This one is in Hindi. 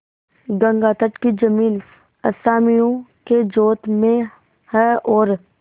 गंगातट की जमीन असामियों के जोत में है और